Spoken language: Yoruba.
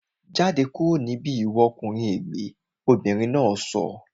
Jáde kúrò ní bíbí ìwọ ọkùnrin ègbẹ́! Obìnrin náà sọ